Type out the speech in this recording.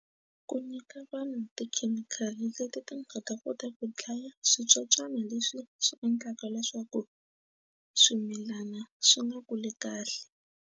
Ku nyika vanhu tikhemikhali leti ti nga ta kota ku dlaya switsotswana leswi swi endlaka leswaku swimilana swi nga kuli kahle.